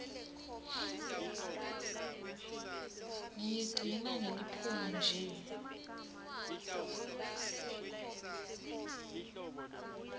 ngiyigcina ngeliphunga nje